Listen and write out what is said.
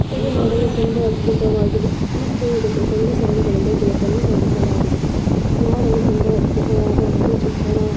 ಇದು ನೋಡಲು ತುಂಬಾ ಅದ್ಭುತವಾಗಿದೆ ಮತ್ತು ಇದು ಗೇಟನ್ನು ನ್ನು ಮಾಡಿಸಲಾಗಿದೆ ನೋಡಲು ತುಂಬಾ ಅದ್ಭುತವಾದ ಒಂದು ಚಿತ್ರಣವಾಗಿದೆ.